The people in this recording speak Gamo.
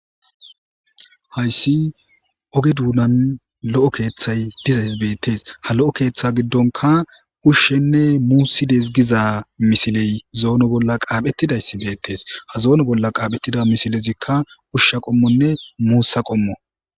hayssi oge duunan lo7o keeththay dizays beettees ha lo7o keeththe giddonka ushshenne muusides giza misiley zoono bolla qaaphetidayssi beettees ha zoono bolla qaaphettida misilezikka ushsha qommonne muussa qommo